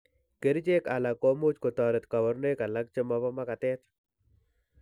Kerichek alak komuch kotoret kabarunoik alak chemobo magatet